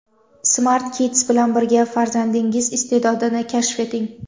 Smart Kids bilan birga farzandingiz iste’dodini kashf eting!.